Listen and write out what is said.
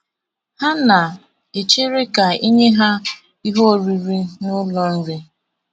Ha na - echere ka e nye ha ihe oriri n’ụlọ nri.